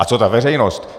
A co ta veřejnost?